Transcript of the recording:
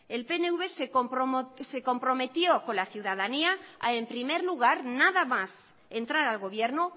el pnv se comprometió con la ciudadanía en primer lugar nada más entrar al gobierno